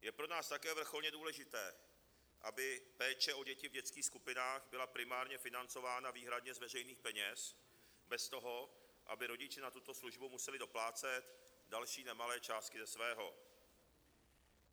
Je pro nás také vrcholně důležité, aby péče o děti v dětských skupinách byla primárně financována výhradně z veřejných peněz bez toho, aby rodiče na tuto službu museli doplácet další nemalé částky ze svého.